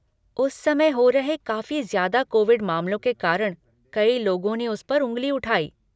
उस समय हो रहे काफी ज्यादा कोविड मामलों के कारण कई लोगों ने उस पर उंगली उठाई।